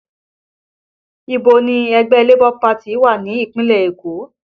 Ibo ni ilé ẹgbẹ́ Labour wà ní ìpínlẹ̀ Èkó?